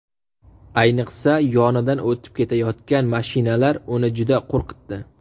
Ayniqsa, yonidan o‘tib ketayotgan mashinalar uni juda qo‘rqitdi.